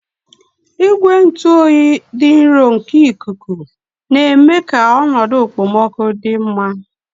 Igwe ntụ oyi dị nro nke ikuku na-eme ka ọnọdụ okpomọkụ dị mma.